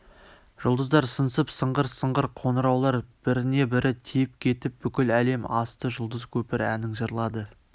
жұлдыздар сыңсып сыңғыр-сыңғыр қоңыраулар біріне-бірі тиіп кетіп бүкіл әлем асты жұлдыз көпір әнін жырлады